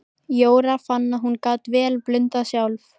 Jóra fann að hún gat vel blundað sjálf.